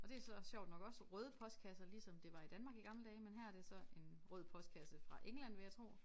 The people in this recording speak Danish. Og det så sjovt nok også røde postkasser ligesom det var i Danmark i gamle dage men her er det så en rød postkasse fra England vil jeg tro